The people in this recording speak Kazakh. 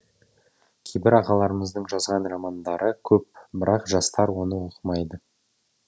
кейбір ағаларымыздың жазған романдары көп бірақ жастар оны оқымайды